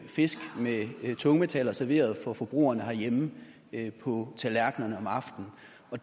fisk med tungmetaller serveret for forbrugerne herhjemme på tallerkenerne om aftenen